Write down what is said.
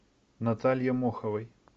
наталье моховой